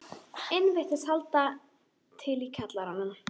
inn virðist halda til í kjallaranum.